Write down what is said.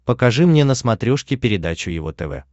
покажи мне на смотрешке передачу его тв